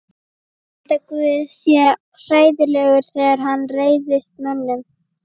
Ég held að guð sé hræðilegur þegar hann reiðist mönnunum.